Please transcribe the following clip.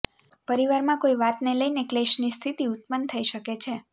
પરિવારમાં કોઈ વાતને લઈને ક્લેશની સ્થિતિ ઉત્પન્ન થઈ શકે છે